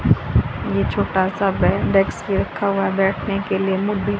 ये छोटा सा बैंड एक्स भी रखा हुआ हैं बैठने के लिए मो--